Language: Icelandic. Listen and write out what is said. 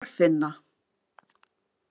Þorfinna